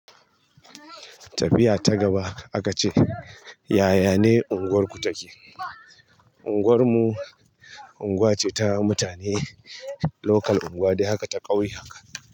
Tafiya ta gaba akace yayane unguwarku take. Unguwar mu unguwa ce ta mutane lokal unguwa dai haka ta ƙauye haka.